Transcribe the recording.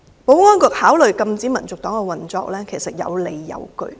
保安局考慮禁止香港民族黨運作其實有理有據。